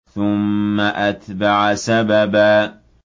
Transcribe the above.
ثُمَّ أَتْبَعَ سَبَبًا